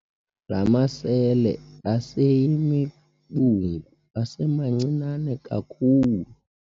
La masele aseyimibungu asemancinane kakhulu.